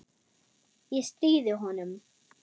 Ég stríði honum.